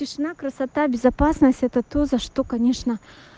весна красота безопасности это то за что конечно